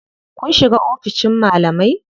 Kun shiga oficin malamai?